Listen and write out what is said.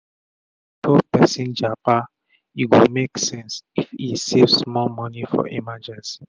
before persin japa e go make sense if e save small moni for emergency